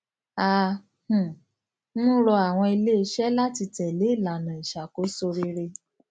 à um ń rọ àwọn iléiṣẹ láti tẹlé ìlànà ìṣàkóso rere